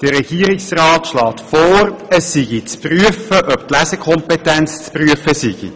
Der Regierungsrat schlägt vor, es sei zu prüfen, ob die Lesekompetenz zu prüfen sei.